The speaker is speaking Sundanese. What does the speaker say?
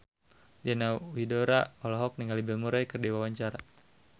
Diana Widoera olohok ningali Bill Murray keur diwawancara